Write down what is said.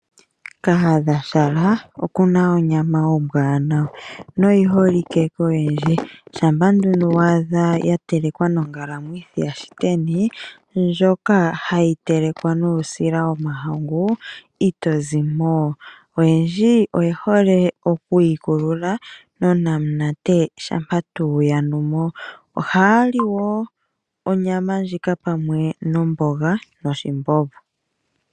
Kahadhashala oku na onyama ombwanawa noyi holike koyendji, shampa nduno wa adha ya telekwa nongalamwithi yaShiteni ndjoka hayi telekwa nuusila womahangu, ito zi mo. Oyendji oye hole okuyi kulula nonamunate shampa tuu yanu mo, ohaya li wo onyama ndjika pamwe nomboga noshimbombo.